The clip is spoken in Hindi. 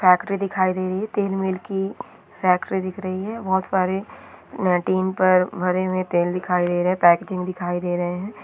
फैक्टरी दिखाई दे रही हैं तेल मील की फैक्टरी दिख रही हैं बहुत सारे टीन पर भरे हुए तेल दिखाई दे रहे हैं पैकेजिंग दिखाई दे रहे हैं।